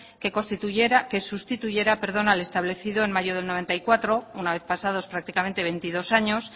que sustituyera al establecido en mayo de mil novecientos noventa y cuatro una vez pasados prácticamente veintidós años